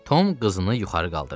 Tom qızını yuxarı qaldırdı.